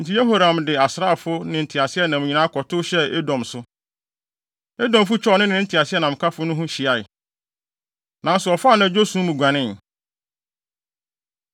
Enti Yehoram de asraafo ne ne nteaseɛnam nyinaa kɔtow hyɛɛ Edom so. Edomfo twaa ɔno ne ne nteaseɛnamkafo no ho hyiae, nanso ɔfaa anadwo sum mu guanee.